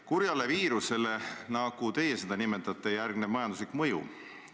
Kurjale viirusele, nagu teie seda nimetate, järgneb majanduslik mõju.